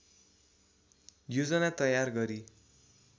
योजना तयार गरी